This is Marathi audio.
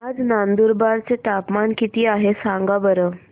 आज नंदुरबार चं तापमान किती आहे सांगा बरं